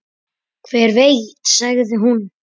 Hver veit sagði hún.